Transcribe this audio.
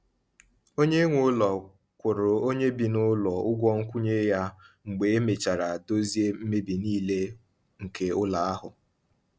Onye nwe ụlọ kwụrụ onye bi n’ụlọ ụgwọ nkwụnye ya mgbe e mechara dozie mmebi nile nke ụlọ ahụ.